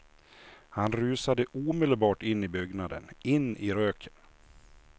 Han rusade omedelbart in i byggnaden, in i röken.